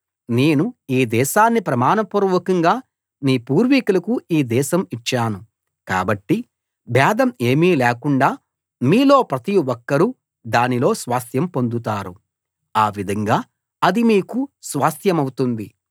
నేను ఈ దేశాన్ని ప్రమాణ పూర్వకంగా మీ పూర్వీకులకు ఈ దేశం ఇచ్చాను కాబట్టి భేదం ఏమీ లేకుండ మీలో ప్రతి ఒక్కరు దానిలో స్వాస్థ్యం పొందుతారు ఆ విధంగా అది మీకు స్వాస్థ్యమవుతుంది